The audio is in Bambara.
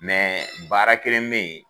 Mɛ baara kelen bɛ yen